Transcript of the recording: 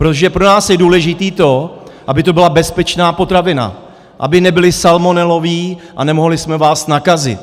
Protože pro nás je důležité to, aby to byla bezpečná potravina, aby nebyly salmonelové a nemohli jsme vás nakazit.